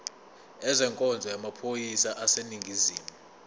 ezenkonzo yamaphoyisa aseningizimu